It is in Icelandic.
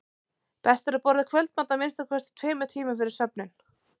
best er að borða kvöldmat að minnsta kosti tveimur tímum fyrir svefninn